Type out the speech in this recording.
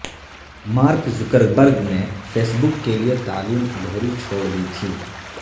mark Zuckerberg نے Facebook کے لیےتعلیم ادھوری چھوڑ دی تھی